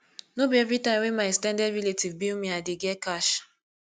no be everytime wey my ex ten ded relatives bill me i dey get cash